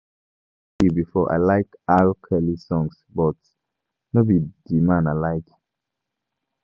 I don tell you before, I like R-Kelly songs but no be the man I like